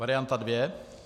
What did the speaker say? Varianta dvě.